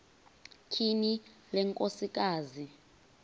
tyhini le nkosikazi